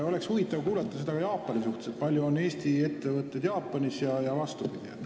Oleks huvitav kuulda ka, kui palju on Eesti ettevõtteid Jaapanis ja vastupidi.